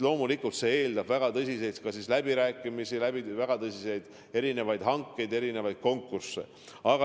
Loomulikult see eeldab väga tõsiseid läbirääkimisi, väga tõsiseid hankeid, erinevaid konkursse.